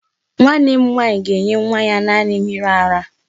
Nwanne m nwaanyị ga-enye nwa ya naanị mmiri ara.